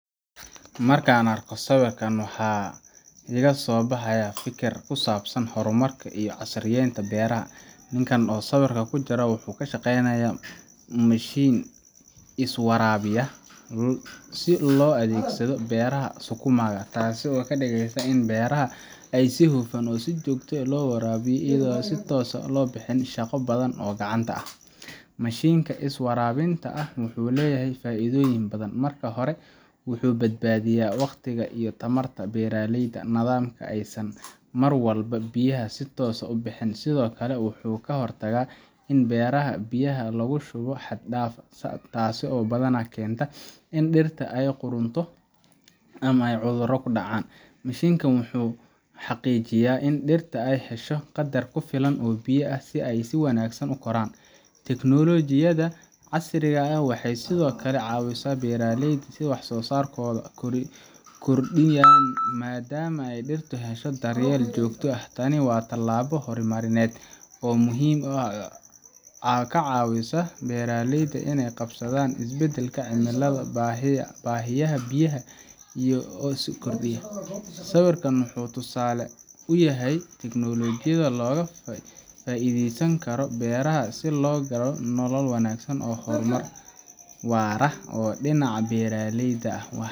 Markaan arko sawiirkaan waxaa hor mar kusabsan beeraleyda, wuxuu isticmaala mashin, taas oo kadigeysa in beeraha lawaraabiyo, mashinka wuxuu leyahay faido ledahay, sido kale wuxuu kahor tagaa in beeraha biya xad daaf lagu shubo, in dirta aay hesho biya kufilan, wax saaro saarka kordiyo, waa tilaabo hor narineed, sawiraan wuxuu tusaale uyahay teknolojiyada beeraha.